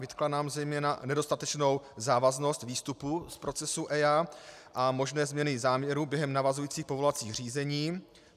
Vytkla nám zejména nedostatečnou závaznost výstupů z procesů EIA a možné změny záměrů během navazujících povolovacích řízení.